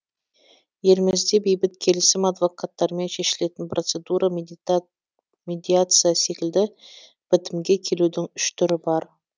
елімізде бейбіт келісім адвокаттармен шешілетін процедура медиация секілді бітімге келудің үш түрі бар